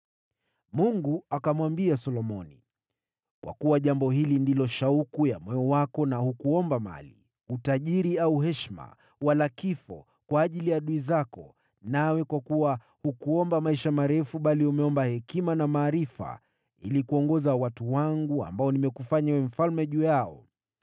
Mungu akamwambia Solomoni, “Kwa kuwa jambo hili ndilo shauku ya moyo wako na hukuomba mali, utajiri au heshima, wala kifo kwa ajili ya adui zako, nawe kwa kuwa hukuomba maisha marefu, bali umeomba hekima na maarifa ili kuongoza watu wangu ambao nimekufanya uwe mfalme juu yao,